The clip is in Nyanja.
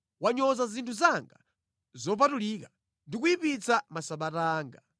Wanyoza zinthu zanga zopatulika ndi kuyipitsa Masabata anga.